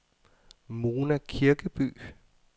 Mona Kirkeby